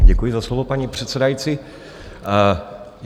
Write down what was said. Děkuji za slovo, paní předsedající.